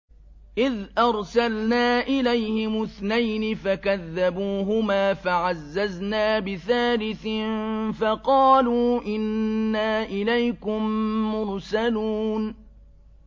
إِذْ أَرْسَلْنَا إِلَيْهِمُ اثْنَيْنِ فَكَذَّبُوهُمَا فَعَزَّزْنَا بِثَالِثٍ فَقَالُوا إِنَّا إِلَيْكُم مُّرْسَلُونَ